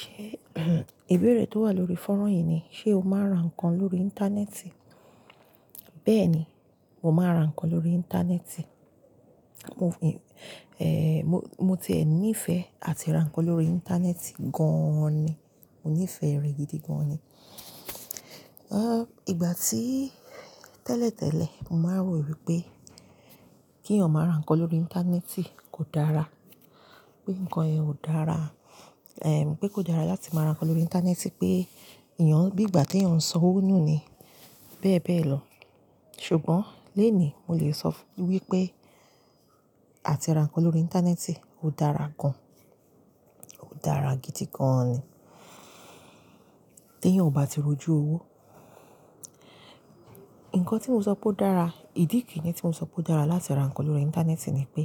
Ṣe ìbéèrè tó wà lórí fọ́nrán yìí ni, ṣe o máa ń ra nǹkan lórí Íńtánẹ́ẹ̀tì? Bẹ́ẹ̀ni, mo máa ń ra nǹkan lórí Íńtánẹ́ẹ̀tì. Mo ẹẹ mo, mo ti ẹ̀ ní ìfẹ́ àti ra nǹkan lórí Íńtánẹ́ẹ̀tì gan ni. Mo níìfẹ̀ẹ́ rẹ gidi gan ni. Ìgbà tí tẹ́lẹ̀ tẹ́lẹ̀, mo máa ń rò wípé kí èèyàn máa ra nǹkan lórí Íńtánẹ́ẹ̀tì kò dára, pé nǹkan yẹn ò dára, ẹm pé kò dára láti máa ra nǹkan lórí Íńtánẹ́ẹ̀tì, pé èèyàn bí ìgbà tí èèyàn ń sọ owo nu ni bẹ́ẹ̀ bẹ́ẹ̀ lọ. Ṣùgbọ́n lónìí, mo lè sọ wípé àti ra nǹkan lórí Íńtánẹ́ẹ̀tì ó dára gan. Ó dára gidi gan ni. Tí èèyàn ò bá ti rójú owó. Nǹkan tí mo sọ pé ó dára, ìdí kiini tí mo sọ pé ó dára láti ra nǹkan lórí Íńtánẹ́ẹ̀tì ni pé,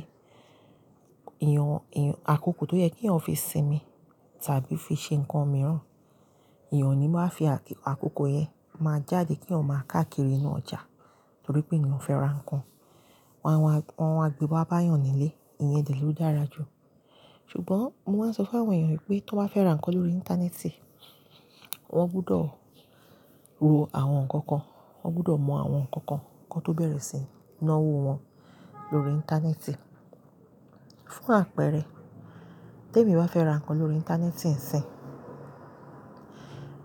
èèyàn, èèyàn àkókò tó yẹ kí ọmọ fi sinmi tàbí fi ṣe nǹkan mìíràn, ìyẹn ò ní wáa fi àkókò yẹn máa jáde kí èèyàn máa káàkiri inú ọjà nítorí pé èèyàn fẹ́ ra nǹkan. Wọn awa, wọn awa, gbé wa ba èèyàn nílé. Ìyẹn dẹ ló dára jù. Ṣùgbọ́n mo máa ń sọ fún àwọn èèyàn wípé tó bá fẹ́ ra nǹkan lórí Íńtánẹ́ẹ̀tì, wọ́n gbọdọ̀ wo àwọn nǹkan kan, wọ́n gbọdọ̀ mọ àwọn nǹkan kan kí wọ́n tó bẹ̀rẹ̀ síi ná owó wọn lórí Íńtánẹ́ẹ̀tì. Fún àpẹẹrẹ, tí èmi bá fẹ́ ra nǹkan lórí Íńtánẹ́ẹ̀tì ńsìn,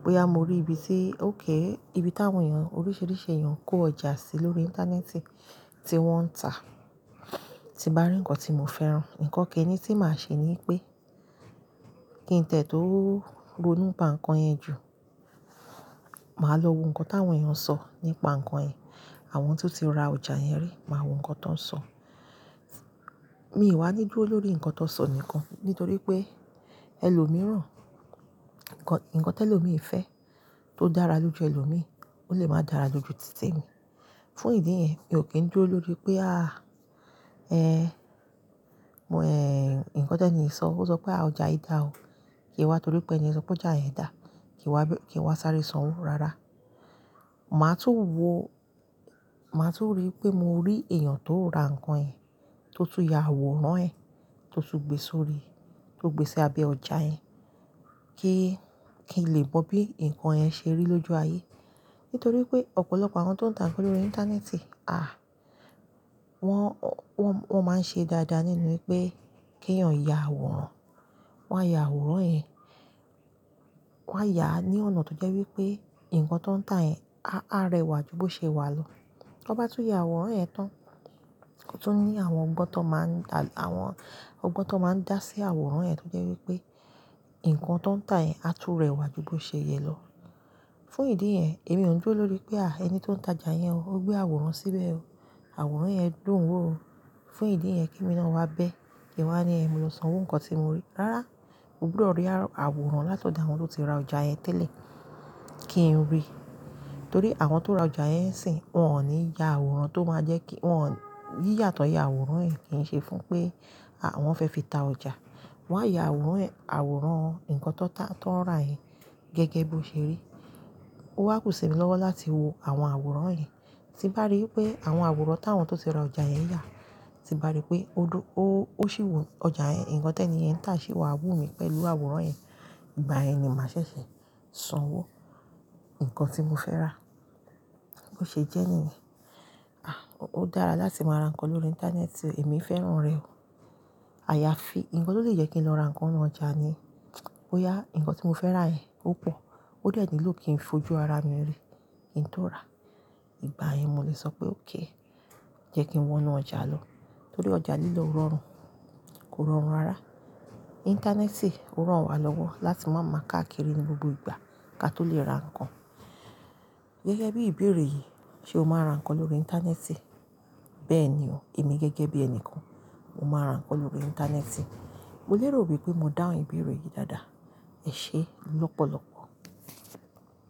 bóyá mo rí ibi tí ó k, ibi tí àwọn èèyàn oríṣìíríṣìí èèyàn kó ọjà sí lórí Íńtánẹ́ẹ̀tì tí wọ́n ń tà, tí bá rí nǹkan tí mo fẹ́ rán, nǹkan kiini tí màá ṣe ni pé kí ǹtẹ̀ tó ronú pá nǹkan yẹn jù, màá lọ wo nǹkan táwọn èèyàn ń sọ nípa nǹkan yẹn. Àwọn tó ti ra ọjà yẹn rí, màá wo nǹkan tó ń sọ. Mi ì wá níjú lórí nǹkan tó ń sọ nìkan nítorí pé ẹlòmíràn, ǹkan, ǹkan tí ẹlòmíì fẹ́ tó dára lójú ẹlòmíì, ó lè máa dára jù ju títí mi. Fún ìdí yẹn, mi ò kín dúró lórí pé àh ẹ́ nǹkan tẹ́nì yi sọ, ó sọ pé àh ọjà yìí dà ó. Kìí n wá torí pé ẹni yẹn sọ pé ọjà yẹn dà. Kì n wá, kì wá sáré sanwó rárá. Màá tún wo, màá tún rí pé mo rí èèyàn tó ra nǹkan yẹn, tó tún yà àwòrán ẹ̀, tó tún gbé sórí, tó gbé sí abẹ́ ọjà yẹn kíi, kí n lè mọ bí nǹkan yẹn ṣe rí lójú ayé. Nítorí pé ọ̀pọ̀lọpọ̀ àwọn tó ń tà nǹkan lórí Íńtánẹ́ẹ̀tì, àh wọ́n, wọ́n, wọ́n máa ń ṣe dáadáa nínú pé kí ẹ̀ ò yà àwòrán, wọ́n á yà àwòrán yẹn, wọ́n á yà á ní ọ̀nà tó jẹ́ wípé nǹkan tọń tà yẹn a, á rẹwà ju bó ṣe wà lọ. Tọ́ n bá tún yà àwòrán ẹ̀ tán, o tu n ní àwọn ọgbọ́n tó máa ń da, àwọn ọgbọ́n tó máa ń dá sí àwòrán yẹn tó jẹ́ wípé nǹkan tọ ń tà yẹn á tú rẹwà ju bó ṣe yẹ lọ. Fún ìdí yẹn, èmi ò ń dúró lórí pé àh ẹni tó ń ta ọjà yẹn o, ó gbé àwòrán síbẹ̀ o. Àwòrán yẹn dùn wò o. Fún ìdí yẹn kí emi náà wá bẹ́, kí wá ní ẹ̀, mo lọ sanwó nǹkan tí mo rí. Rárá, mo gbúdọ̀ rí àwo-- àwòrán láti ọ̀dọ̀ àwọn tó ti ra ọjà yẹn tẹ́lẹ̀ kí n rí. Nítorí àwọn tó ra ọjà yẹn ńsìn, wọ́n ò ní yà àwòrán tó máa jẹ́ kí wọ́n-- yíyà tọ̀ yà àwòrán yìí kìí ṣe fún pé àwọn fẹ́ fi ta ọjà. Wọ́n á yà àwòrán ẹ̀, àwòrán nǹkan tọ ta, tọ ń rà yẹn gẹ́gẹ́ bí ó ṣe rí. Ó wá kù sì mi lọ́wọ́ láti wo àwọn àwòrán yẹn, tí n bá rí wipé àwọn àwòrán táwọn tó ti ra ọjà yẹn yà, tí bá rí pé ó dú ó, ó sì wọ ọjà yẹn, nǹkan tẹ́nì yẹń n tà ṣì wà wù mí pẹ̀lú àwòrán yẹn, ìgbà yẹn ni màá ṣẹ̀ṣẹ̀ sanwó nǹkan tí mo fẹ́ rà. Bo ṣe jẹ́ẹ̀ níyẹn. Àh ó dára láti máa ra nǹkan lórí Íńtánẹ́ẹ̀tì èmi fẹ́ràn rẹ̀ o. Àyàfi nǹkan tó lè jẹ́ kí n lọ ra nǹkan ninu ọjà ni, bóyá nǹkan tí mo fẹ́ rà yẹn opọ̀, ó dẹ ni ló kí ń fojú ara mi rí kí ǹ tó rà. Ìgbà yẹn mo lè sọ pé "òk jẹ́ kí n wọ inú ọjà lọ." Nítorí ọjà lílọ o rọrùn, kò rọrùn rárá. Íńtánẹ́ẹ̀tì o ràn wa lọ́wọ́ láti máa máa káàkiri ní gbogbo ìgbà kí a tó lè ra nǹkan. Gẹ́gẹ́ bí ìbéèrè yìí, ṣe o máa n ra nǹkan lórí Íńtánẹ́ẹ̀tì? Bẹ́ẹ̀ni o, èmi gẹ́gẹ́ bí ẹni kan, mo máa ra nǹkan lórí Íńtánẹ́ẹ̀tì. Mo lérò wípé mo dáhùn ìbéèrè yìí dáadáa. Ẹ ṣé lọ́pọ̀lọ́pọ̀.